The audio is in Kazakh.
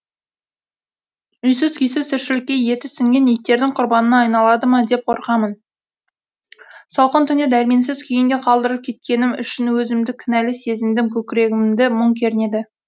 үйсіз күйсіз тіршілікке еті сіңген иттердің құрбанына айналады ма деп қорқамын салқын түнде дәрменсіз күйінде қалдырып кететінім үшін өзімді кінәлі сезіндім көкірегімді мұң кернеді